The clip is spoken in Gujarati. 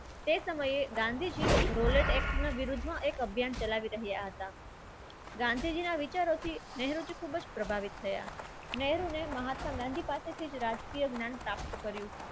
તે સમયે ગાંધીજીનો એક rolat act અભિયાન ચલાવી રહ્યા હતા. ગાંધીજીના વિચારોથી ખૂબ જ પ્રભાવિત થયા નહેરુને મહાત્મા ગાંધી પાસેથી જ રાજકીય જ્ઞાન પ્રાપ્ત કર્યું.